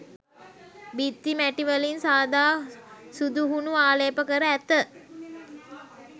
බිත්ති මැටි වලින් සාදා සුදු හුණු ආලේ්ප කර ඇත.